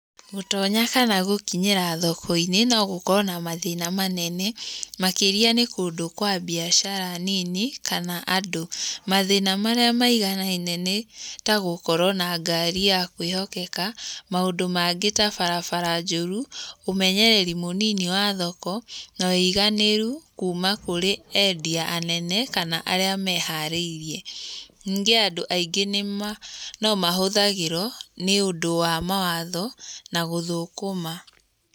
Gũtonya kana gũkinyĩra thoko-inĩ no gũkorwo na mathĩna manene, makĩrĩa nĩ kũndũ kwa biacara nini kana andũ. Mathĩna marĩa maiganaine nĩ ta gũkorwo na ngari ya kwĩhokeka, maũndũ mangĩ ta barabara njũru, ũmenyereri mũnini wa thoko, na ũiganĩru kuma kũrĩ endia anene, kana arĩa meharĩirie. Ningĩ andũ aingĩ nomahũthagĩrwo nĩundũ wa mawatho na gũthũkũma.